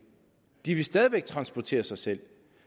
de vil stadig væk transportere sig selv